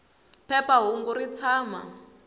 phepha hungu ri tshama